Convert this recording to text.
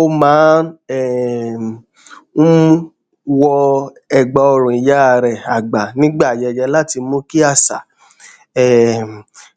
ó máa um ń wọ ẹgbàọrùn ìyá rẹ àgbà nígbà ayẹyẹ láti mú kí àṣà um